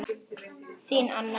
Þín Anna.